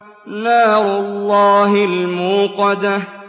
نَارُ اللَّهِ الْمُوقَدَةُ